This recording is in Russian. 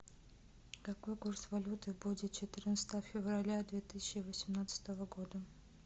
какой курс валюты будет четырнадцатого февраля две тысячи восемнадцатого года